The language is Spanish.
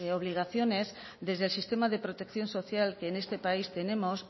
obligaciones desde el sistema de protección social que en este país tenemos